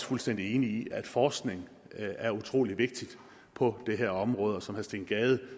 fuldstændig enig i at forskning er utrolig vigtigt på det her område som herre steen gade